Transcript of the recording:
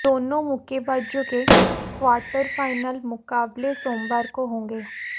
दोनों मुक्केबाजों के क्वार्टर फाइनल मुकाबले सोमवार को होंगे